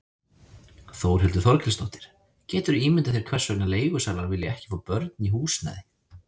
Þórhildur Þorkelsdóttir: Geturðu ímyndað þér hvers vegna leigusalar vilja ekki fá börn í húsnæði?